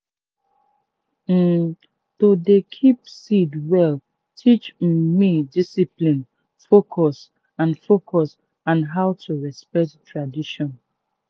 um to dey keep seed well teach um me discipline focus and focus and how to respect tradition.